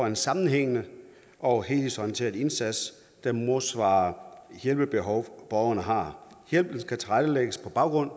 en sammenhængende og helhedsorienteret indsats der modsvarer det hjælpebehov borgeren har hjælpen skal tilrettelægges på baggrund